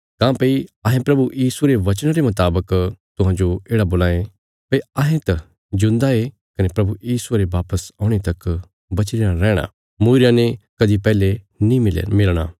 काँह्भई अहें प्रभु यीशुये रे वचना रे मुतावक तुहांजो येढ़ा बोलां ये भई अहें त जिऊंदा ये कने प्रभु यीशुये रे वापस औणे तक बची रयां रैहणा तां पक्का सै तिन्हां विश्वासियां ते पैहले तिसने नीं मिलणे सै जे पहले मरी चुक्कीरे